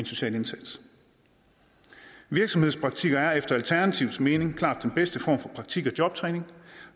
social indsats virksomhedspraktik er efter alternativets mening klart den bedste form for praktik og jobtræning